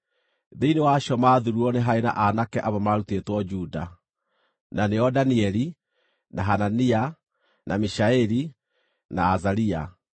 Thĩinĩ wa acio maathuurirwo nĩ haarĩ na aanake amwe maarutĩtwo Juda: Na nĩo Danieli, na Hanania, na Mishaeli, na Azaria.